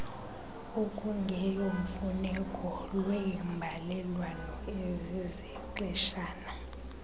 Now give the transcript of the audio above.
okungeyomfuneko lweembalelwano ezizexeshana